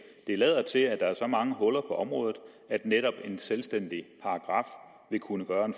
det lader til at der er så mange huller på området at netop en selvstændig paragraf vil kunne gøre en